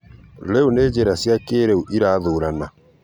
Rĩu nĩ njĩra cĩa kĩrĩu ĩrathũrana